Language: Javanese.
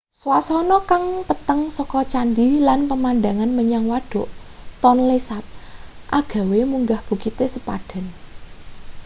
swasana kang peteng saka candhi lan pemandangan menyang wadhuk tonle sap agawe munggah bukite sepadan